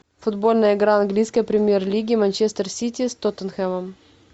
футбольная игра английской премьер лиги манчестер сити с тоттенхэмом